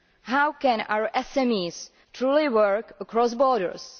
How can our SMEs truly work across borders?